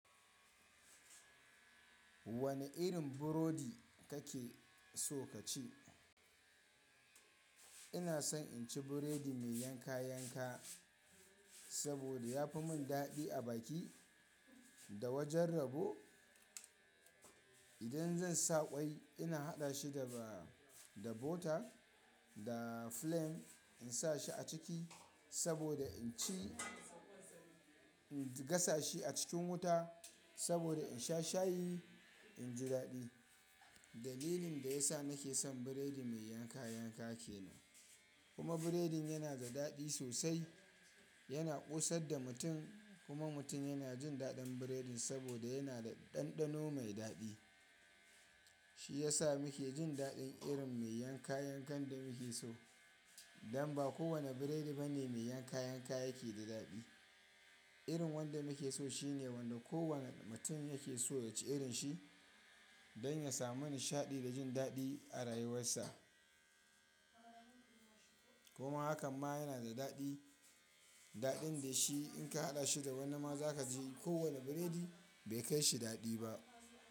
Wane irin burodi kake so ka ci? Ina son in ci biredi mai yanka yanka, saboda ya fi mun dadi a baki da wajen rabo. Idan zan sa ƙwai ina haɗa shi da, ba da butter da flem in sa shi a ciki, saboda in ci, in gasa shi a cikin wuta saboda in sha shayi in ji dadi. Dalilin da ya sa nake son biredi mai yanka yanka kenan. Kuma biredin yana da dadi sosai, yana ƙosar da mutum kuma mutum yana jin daɗin biredin saboda yana da ɗanɗano mai dadi. Shi ya sa muke jin daɗin irin mai yanka yankan da muke so. Dan ba kowane biredi ba ne mai yanka yanka yake da dadi. Irin wanda muke so shine wanda kowane mutum yake so ya ci irin shi don ya samu nishaɗi da jin daɗi a rayuwarsa. Kuma hakan ma yana da daɗi, daɗin da shi in ka haɗa shi da wani ma za ka ji kowane biredi bai kai shi daɗi ba.